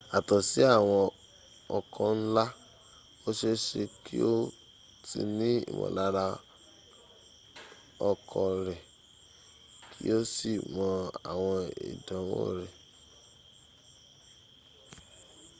yàtò sí àwọn ọkọ̀ ńlá o seése kí o tí ní ìmọ̀lára ọkọ̀ rẹ kí o sì mọ àwọn ìdiwọ̀n rẹ̀